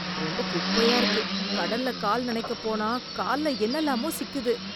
ரொம்ப குப்பையா இருக்கு, கடல்ல கால் நணைக்கப் போனா கால்ல என்னலாமோ சிக்குது.